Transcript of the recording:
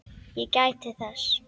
Ég gæti þess.